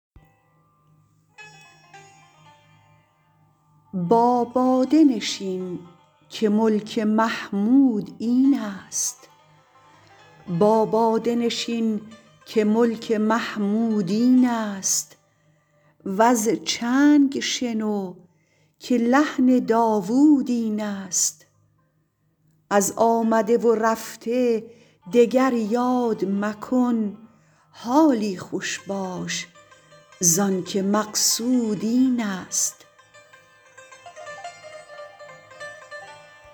با باده نشین که ملک محمود این است وز چنگ شنو که لحن داوود این است از آمده و رفته دگر یاد مکن حالی خوش باش زانکه مقصود این است